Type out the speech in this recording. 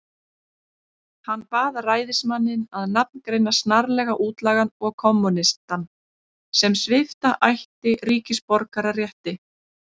Hann bað ræðismanninn að nafngreina snarlega útlagann og kommúnistann, sem svipta ætti ríkisborgararétti.